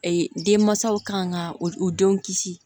denmansaw kan ka u denw kisi